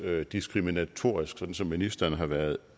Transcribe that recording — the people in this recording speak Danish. diskriminatorisk sådan som ministeren har været